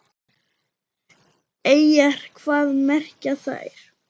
Eyjar, hvað merkja þær?